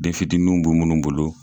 Den fitininw bɛ minnu bolo.